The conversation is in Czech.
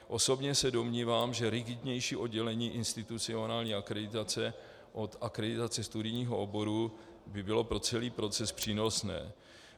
Osobně se domnívám, že rigidnější oddělení institucionální akreditace od akreditace studijního oboru by bylo pro celý proces přínosné.